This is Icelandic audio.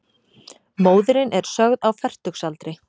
Móðirin er sögð á fertugsaldri